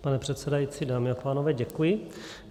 Pane předsedající, dámy a pánové, děkuji.